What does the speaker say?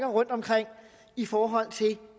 rundtomkring i forhold til